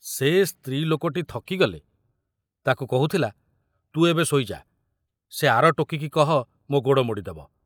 ସେ ସ୍ତ୍ରୀ ଲୋକଟି ଥକିଗଲେ ତାକୁ କହୁଥିଲା, ତୁ ଏବେ ଶୋଇ ଯା, ସେ ଆର ଟୋକିକି କହ ମୋ ଗୋଡ଼ ମୋଡ଼ିଦେବ!